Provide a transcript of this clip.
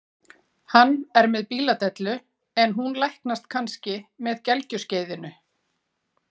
Hann er með bíladellu en hún læknast kannski með gelgjuskeiðinu.